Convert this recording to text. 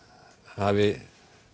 hafi